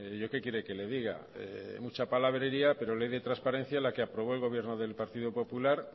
yo qué quiere que le diga mucha palabrería pero ley de transparencia la que aprobó el gobierno del partido popular